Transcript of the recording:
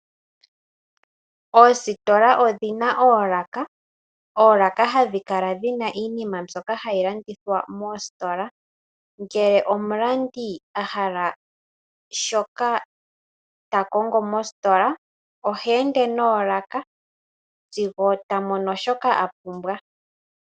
Oositola odhina oolaka. Oolaka hadhi kala dhina iinima mbyoka hayi landithwa moositola, ngele omulandi ahala shoka takongo mositola oha ende noolaka sigo tamono shoka apumbwa.